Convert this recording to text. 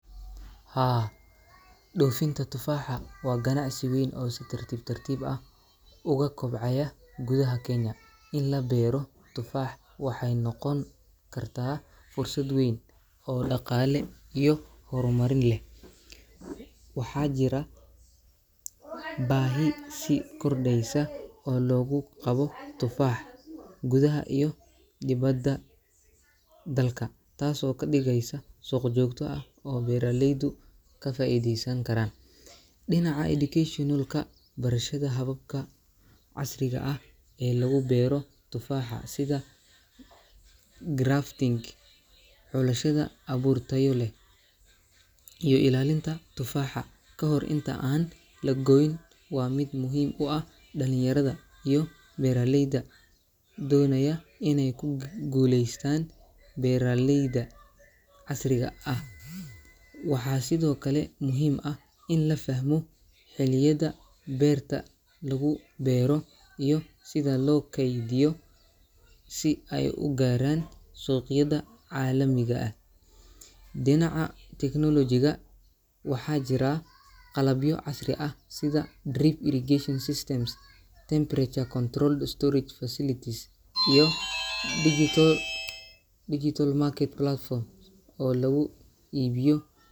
Haa, dhoofinta tufaaxa waa ganacsi weyn oo si tartiib tartiib ah uga kobcaya gudaha Kenya. In la beero tufaax waxay noqon kartaa fursad weyn oo dhaqaale iyo horumarin leh. Waxaa jirta baahi sii kordheysa oo loogu qabo tufaax gudaha iyo dibadda dalka, taasoo ka dhigaysa suuq joogto ah oo beeraleydu ka faa’iideysan karaan. Dhinaca educational-ka, barashada hababka casriga ah ee lagu beero tufaaxa sida grafting, xulashada abuur tayo leh, iyo ilaalinta tufaaxa ka hor inta aan la goyn waa mid muhiim u ah dhalinyarada iyo beeraleyda doonaya inay ku guuleystaan beeraleyda beeraleyda casriga ah. Waxaa sidoo kale muhiim ah in la fahmo xilliyada beerta lagu beero iyo sida loo kaydiyo si ay u gaaraan suuqyada caalamiga ah. Dhinaca technology-ga, waxaa jira qalabyo casri ah sida drip irrigation systems, temperature-controlled storage facilities iyo digital digital market platforms oo lagu iibiyo.